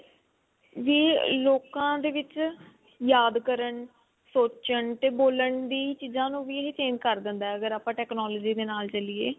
ਵੀ ਲੋਕਾਂ ਦੇ ਵਿੱਚ ਯਾਦ ਕਰਨ ਸੋਚਣ ਤੇ ਬੋਲਣ ਦੀ ਚੀਜ਼ਾਂ ਨੂੰ ਵੀ change ਕਰ ਦਿੰਦਾ ਅਗਰ ਆਪਾਂ technology ਦੇ ਨਾਲ ਚੱਲੀਏ